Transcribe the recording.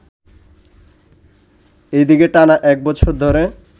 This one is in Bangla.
এদিকে টানা একবছর ধরে